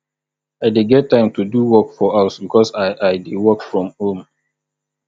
i dey get time do work for house because i i dey work from home